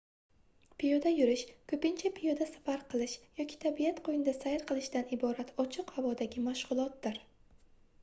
piyoda yurish koʻpincha piyoda safar qilish yoki tabiat qoʻynida sayr qilishdan iborat ochiq havodagi mashgʻulotdir